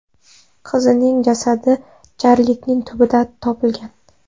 Qizning jasadi jarlikning tubida topilgan.